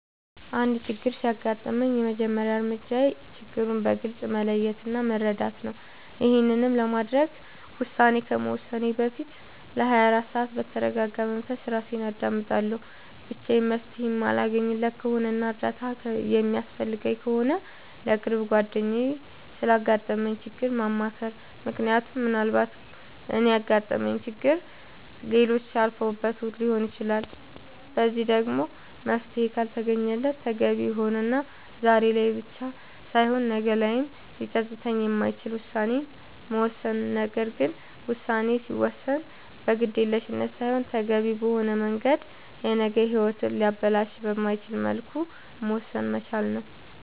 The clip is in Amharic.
አንድ ችግር ሲያጋጥመኝ የመጀመሪያ እርምጃዬ ችግሩን በግልፅ መለየት እና መረዳት ነዉ ይሄንንም ለማድረግ ውሳኔ ከመወሰኔ በፊት ለ24 ሰዓት በተርጋጋ መንፈስ እራሴን አዳምጣለሁ ብቻዬን መፍትሄ የማለገኝለት ከሆነና እርዳታ የሚያስፈልገኝ ከሆነ ለቅርብ ጓደኛዬ ስላጋጠመኝ ችግር ማማከር ምክንያቱም ምናልባት እኔ ያጋጠመኝን ችግር ሌሎች አልፈውበት ሊሆን ይችላል በዚህም ደግሞ መፍትሄ ካልተገኘለት ተገቢ የሆነና ዛሬ ላይ ብቻ ሳይሆን ነገ ላይም ሊፀፅት የማይችል ውሳኔን መወሰን ነገር ግን ውሳኔ ሲወሰን በግዴለሽነት ሳይሆን ተገቢውን በሆነ መንገድ የነገ ሂወትን ሊያበላሽ በማይችልበት መልኩ መወሰን መቻል ነዉ